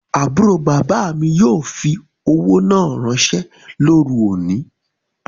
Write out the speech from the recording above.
Aburo baba mi yoo fi owo naa ranse loru oni